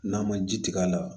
N'a ma ji tigɛ a la